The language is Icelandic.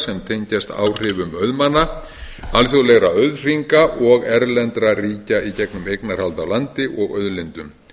sem tengjast áhrifum auðmanna alþjóðlegra auðhringa og erlendra ríkja í gegnum eignarhald á landi og auðlindum